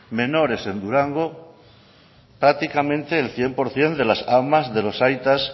menores en durango prácticamente el cien por ciento de las amas de los aitas